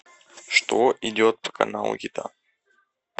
что идет по каналу еда